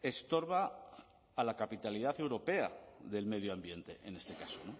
estorba a la capitalidad europea del medio ambiente en este caso